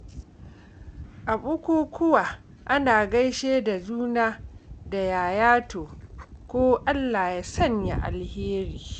A bukukuwa, ana gaishe da juna da “Yaya taro?” ko “Allah ya sanya alheri.”